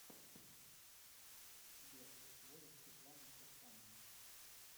сбер возраст светланы кирсановой